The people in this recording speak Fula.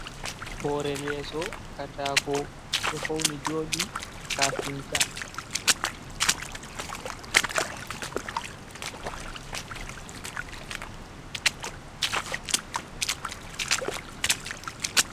Hore leeso katako. Ɗo fauni joɗi kafinta.